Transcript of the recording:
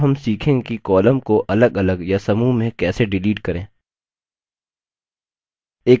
अब हम सीखेंगे कि columns को अलगअलग या समूह में कैसे डिलीट करें